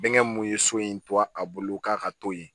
Bɛnkɛ mun ye so in to a bolo k'a ka to yen